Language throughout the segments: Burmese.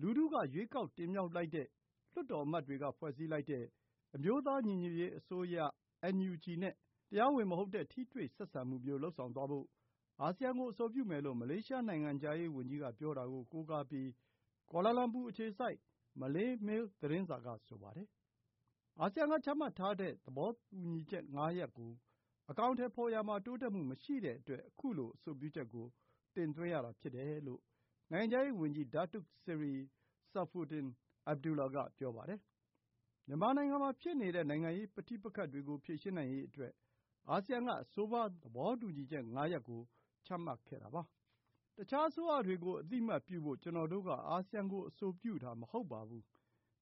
လူထု ရွေးကောက်တင်မြှောက်လိုက်တဲ့ လွှတ်တော်အမတ်တွေက ဖွဲ့စည်းလိုက်ကြတဲ့ အမျိုးသားညီညွတ်ရေးအစိုးရ (NUG) နဲ့ တရားဝင်မဟုတ်တဲ့ ထိတွေ့ဆက်ဆံမှုမျိုး လုပ်ဆောင်သွားဖို့ အာဆီယံကို အဆိုပြုမယ်လို့ မလေးရှား နိုင်ငံခြားရေးဝန်ကြီးက ပြောတာကို ကိုးကားပြီး ကွာလာလမ်ပူ အခြေစိုက် မလေးမေးလ်သတင်းစာက ဆိုပါတယ်။ အာဆီယံက ချမှတ်ထားတဲ့ သဘောတူညီချက် ၅ ရပ်ကို အကောင်အထည်ဖော်ရာမှာ တိုးတက်မှုမရှိတဲ့အတွက် ခုလို အဆိုပြုချက်ကို တင်သွင်းရတာဖြစ်တယ်လို့ နိုင်ငံခြားရေးဝန်ကြီး Datuk Seri Saifuddin Abdullah က ပြောပါတယ်။ မြန်မာနိုင်ငံမှာ ဖြစ်နေတဲ့ နိုင်ငံရေးပဋိပက္ခတွေကို ဖြေရှင်းနိုင်ရေးအတွက် အာဆီယံက အဆိုပါ သဘောတူညီချက် ၅ ရပ်ကို ချမှတ်ခဲ့တာပါ။ “အခြားအစိုးရတွေကို အသိအမှတ်ပြုဖို့ ကျနော်တို့က အာဆီယံကို အဆိုပြုတာ မဟုတ်ပါဘူး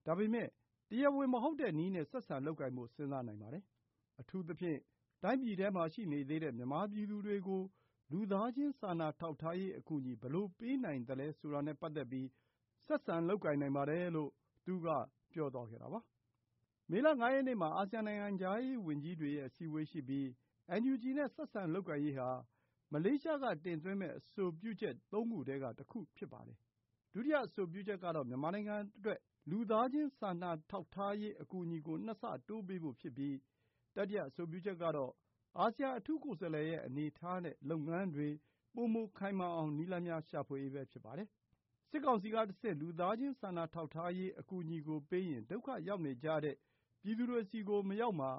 ။ ဒါပေမဲ့ တရားဝင်မဟုတ်တဲ့နည်းနဲ့ ဆက်ဆံလုပ်ကိုင်ဖို့ စဉ်းစားနိုင်ပါတယ်။ အထူးသဖြင့် တိုင်းပြည်ထဲမှာ ရှိနေသေးတဲ့ မြန်မာပြည်သူတွေကို လူသားချင်း စာနာထောက်ထားရေး အကူအညီ ဘယ်လိုပေးနိုင်သလဲဆိုတာနဲ့ ပတ်သက်ပြီး ဆက်ဆံလုပ်ကိုင်နိုင်ပါတယ်။” မေလ ၅ ရက်နေ့မှာ အာဆီယံ နိုင်ငံခြားရေးဝန်ကြီးတွေရဲ့ အစည်းအဝေးရှိပြီး NUG နဲ့ ဆက်ဆံလုပ်ကိုင်ရေးဟာ မလေးရှားက တင်သွင်းမယ့် အဆိုပြုချက် ၃ ခုထဲက တခုဖြစ်ပါတယ်။ ဒုတိယအဆိုပြုချက်ကတော့ မြန်မာနိုင်ငံအတွက် လူသားချင်း စာနာထောက်ထားရေး အကူအညီကို ၂ ဆတိုးပေးဖို့ ဖြစ်ပြီး တတိယ အဆိုပြုချက်ကတော့ အာဆီယံ အထူးကိုယ်စားလှယ်ရဲ့ အနေအထားနဲ့ လုပ်ငန်းတွေ ပိုမိုခိုင်မာအောင် နည်းလမ်းများ ရှာဖွေရေးပဲ ဖြစ်ပါတယ်။ စစ်ကောင်စီကတဆင့် လူသားချင်း စာနာထောက်ထားရေး အကူအညီကို ပေးရင် ဒုက္ခရောက်နေကြတဲ့ ပြည်သူတွေဆီ မရောက်မှာ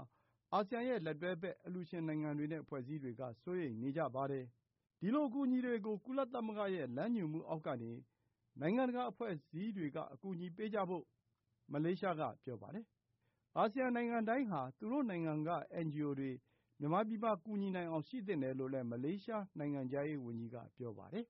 ကို အာဆီယံရဲ့ လက်တွဲဘက် အလှူရှင်နိုင်ငံတွေနဲ့ အဖွဲ့အစည်းတွေက စိုးရိမ်နေကြပါတယ်။ ဒီလို အကူအညီတွေကို ကုလသမဂ္ဂရဲ့ လမ်းညွှန်မှုအောက်ကနေ နိုင်ငံတကာ အဖွဲ့အစည်းတွေက အကူအညီပေးကြဖို့ မလေးရှားက ပြောပါတယ်။ အာဆီယံနိုင်ငံတိုင်းဟာ သူတို့နိုင်ငံက NGO တွေ မြန်မာပြည်မှာ ကူညီနိုင်အောင် ရှိသင့်တယ်လို့လည်း မလေးရှား နိုင်ငံခြားရေးဝန်ကြီးက ပြောပါတယ်။